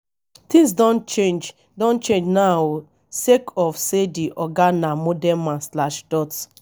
tins don change don change now o sake of say di oga na modern man slash dot